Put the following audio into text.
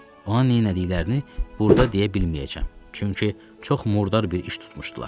Ona nə elədiklərini burda deyə bilməyəcəm, çünki çox murdar bir iş tutmuşdular.